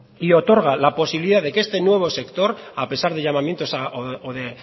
bai y otorga la posibilidad que este nuevo sector a pesar de llamamientos o de